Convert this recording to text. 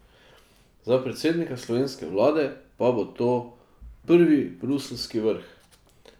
Za predsednika slovenske vlade pa bo to prvi bruseljski vrh.